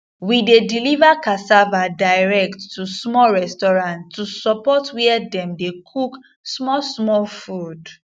we dey deliver cassava direct to small restaurants to support where dem dey cook small small food